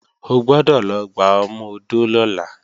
O gbọ́dọ̀ lọ gba ọmọ-odó lọ́la!